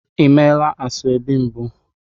Ị meela ashebi mbụ?